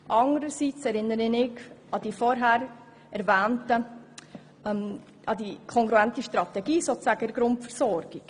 Anderseits erinnere ich an die vorher erwähnte kongruente Strategie in der Grundversorgung.